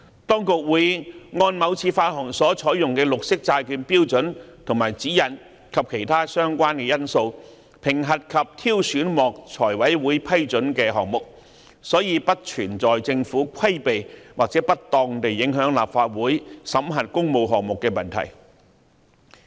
當局會按某次發行所採用的綠色債券標準和指引及其他相關因素，評核及挑選獲財務委員會批准的項目，所以不存在政府規避或不當地影響立法會審核工務項目的問題。